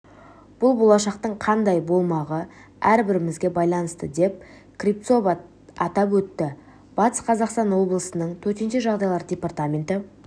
бұл болашақтың қандай болмағы әрбіреуімізге байланысты деп кривцова атап өтті батыс қазақстан облысының төтенше жағдайлар департаменті